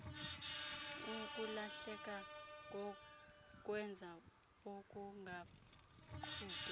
ukulahleka kokwenza okungaqhutywa